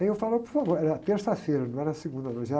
Aí eu falo, por favor, era terça-feira, não era segunda, não, já...